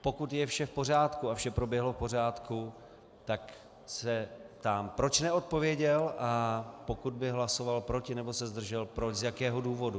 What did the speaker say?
Pokud je vše v pořádku a vše proběhlo v pořádku, tak se ptám, proč neodpověděl, a pokud by hlasoval proti nebo se zdržel, proč, z jakého důvodu.